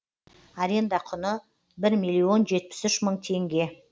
аренда құны бір миллион жетпіс үш мың теңге